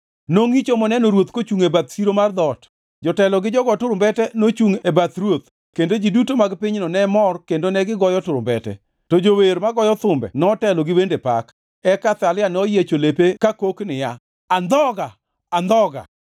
Nongʼicho moneno ruoth kochungʼ e bath siro mar dhoot. Jotelo gi jogo turumbete nochungʼ e bath ruoth kendo ji duto mag pinyno ne mor kendo negigoyo turumbete, to jower magoyo thumbe notelo ni wende pak. Eka Athalia noyiecho lepe kakok niya, “Andhoga! Andhoga!”